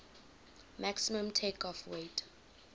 maximum takeoff weight